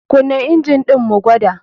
KUna injin ɗin mu gwada.